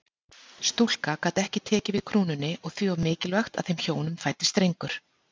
Stúlka gat ekki tekið við krúnunni og því var mikilvægt að þeim hjónum fæddist drengur.